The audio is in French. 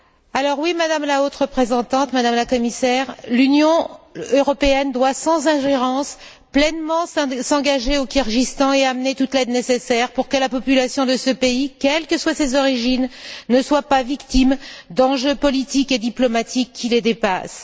Alors oui, Madame la Haute représentante, Madame la Commissaire, l'Union européenne doit, sans ingérence, s'engager pleinement au Kirghizstan et apporter toute l'aide nécessaire pour que la population de ce pays, quelles que soient ses origines, ne soit pas victime d'enjeux politiques et diplomatiques qui la dépassent.